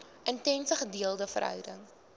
intense gedeelde verhouding